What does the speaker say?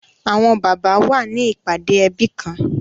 Awọn baba wa ni ipade ẹbi kan